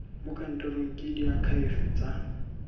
mo kantorong ke diakhaefe tsa